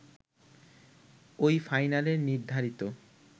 ঐ ফাইনালে নির্ধারিত